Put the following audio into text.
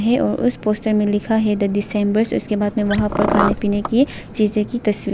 उस पोस्टर में लिखा है द दिसंबर से उसके बाद में वहां पर खाने पीने की चीजें की तस्वी--